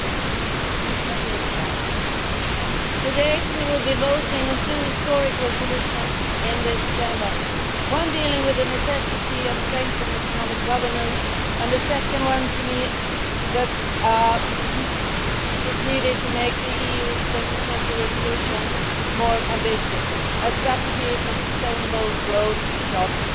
Mr President, today we will be voting on two historic resolutions in this Chamber, one dealing with the necessity of strengthened economic governance and a second one which is needed to make the EU 2020 resolution more ambitious a strategy for sustainable growth and jobs.